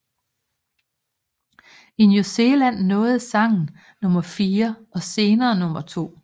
I New Zealand nåede sangen nummer fire og senere nummer to